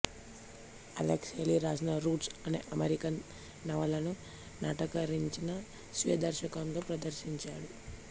Alex Haley రాసిన Roots అనే American నవలను నాటకీకరించి స్వీయ దర్శకత్వంలో ప్రదర్శించాడు